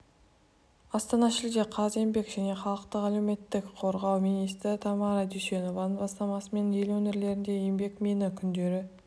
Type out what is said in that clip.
астана шілде қаз еңбек және халықты әлеуметтік қорғау министрі тамара дүйсенованың бастамасымен ел өңірлерінде еңбекмині күндері